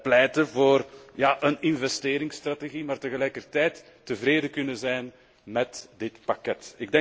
pleiten voor een investeringsstrategie, maar tegelijkertijd tevreden kunnen zijn met dit pakket.